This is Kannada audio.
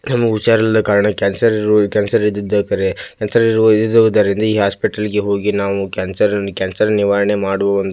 ಕೆಲವು ಹುಷಾರಿಲ್ಲಾ ಕಾರಣ ಕ್ಯಾನ್ಸರ್ ರಿರು ಕ್ಯಾನ್ಸರ್ ಇದ್ದದೆ ಕರೆ ಕ್ಯಾನ್ಸರ್ ಇರುವ ಇದುದ್ದರಿಂದ ಈ ಹಾಸ್ಪಿಟಲ್ ಗೆ ಹೋಗಿ ನಾವು ಕ್ಯಾನ್ಸರ್ ಕ್ಯಾನ್ಸರ್ ನಿವಾರಣೆ ಮಾಡುವ --